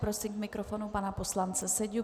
Prosím k mikrofonu pana poslance Seďu.